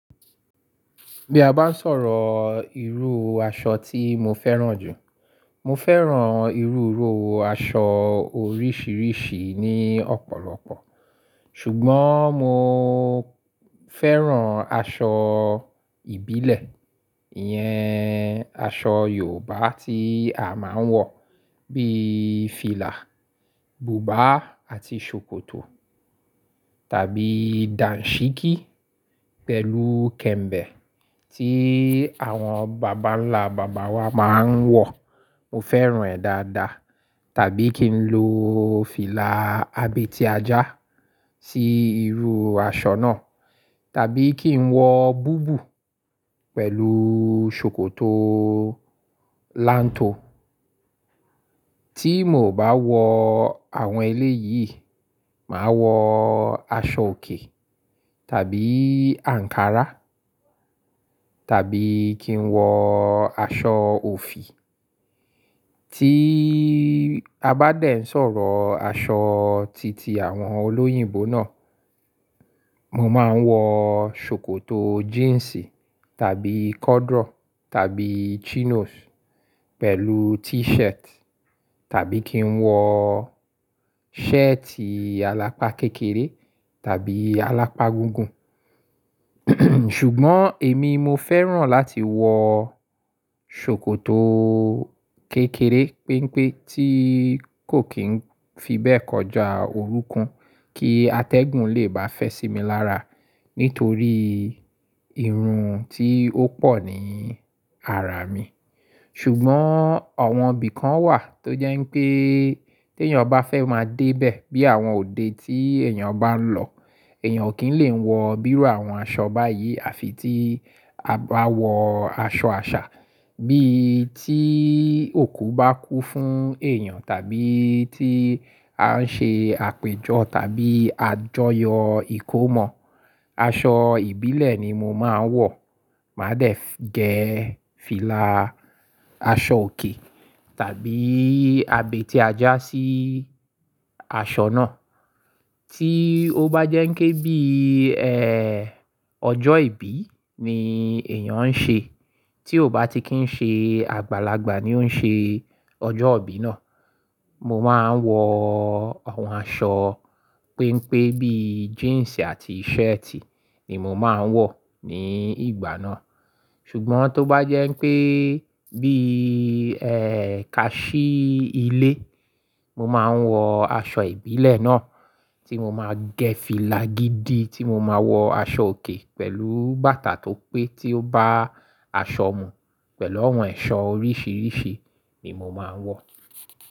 Bí a bá ń sọ̀rọ̀ irú aṣọ tí mo fẹ́ràn jù, mo fẹ́ràn irú irú aṣọ oríṣiríṣi ní ọ̀pọ̀lọpọ̀. Ṣùgbọ́n mo fẹ́ràn aṣọ ìbílẹ̀, ìyẹn aṣọ Yorùbá tí a máa ń wọ̀ bíi fìlà, bùbá àti ṣòkòtò tàbí dàǹṣíkí pẹ̀lú kẹ̀m̀bẹ̀ tí àwọn bàbánlá-bàbá wa máa ń wọ̀, mo fẹ́ràn ẹ́ dáadáa tàbí kí n lo fìlà abètí ajá sí irú aṣọ náà tàbí kí n wọ bùbù pẹ̀lú ṣòkòtò láǹtò. Tí mo ò bá wọ àwọn eléyìí, màá wọ aṣọ òkè tàbí ankara tàbí kí n wọ aṣọ òfì. Tí a bá dẹ̀ ń sọ̀rọ̀ aṣọ titi àwọn olóyìnbó náà, mo máa ń wọ ṣòkòtò jíǹsì tàbí corduroy tàbí chinos pẹ̀lú t-shirt tàbí kí n wọ shirt àlápá kékeré tàbí àlápá gúgún. Ṣùgbọ́n èmi mo fẹ́ràn láti wọ ṣòkòtò kékeré pínpín tí kò kín fi bẹ́ẹ̀ kọjá orúnkun kí atẹ́gùn lè bá fẹ́ sí mi lára nítorí irun tí ó pọ̀ ní àrà mi. Ṣùgbọ́n ọ̀wọ́n bí kan wà tó jẹ́ pé tí èèyàn bá fẹ́ máa dé bẹ̀ bí àwọn òde tí èèyàn bá ń lọ, èèyàn ò kí ń lè wọ bírú àwọn aṣọ báyìí àfi tí a bá wọ aṣọ àṣà bíi tí òkú bá kú fún èèyàn tàbí tí a ń ṣe àpéjọ tàbí àjọyọ̀ ìkómọ, aṣọ ìbílẹ̀ ni mo máa ń wọ̀. Màá dẹ̀ gẹ́ fìlà aṣọ òkè tàbí abètí ajá sí aṣọ náà. Tí ó bá jẹ́ pé bí i, ẹ́, ọjọ́ ìbí ni èèyàn ń ṣe, tí ó bá ti kí ń ṣe àgbàlagbà ni ó ń ṣe ọjọ́ ìbí náà, mo máa ń wọ àwọn aṣọ pínpín bíi jíǹsì àti shirt ni mo máa ń wọ̀ ní ìgbà náà. Ṣùgbọ́n tó bá jẹ́ pé bí i, ẹ́, kaṣí ilé, mo máa ń wọ aṣọ ìbílẹ̀ náà tí mo máa gẹ́ fìlà gidi tí mo máa wọ aṣọ òkè pẹ̀lú bàtà tó pẹ́ tí ó bá aṣọ mu pẹ̀lú àwọn ẹ̀ṣọ́ oríṣiríṣi ni mo máa ń wọ̀.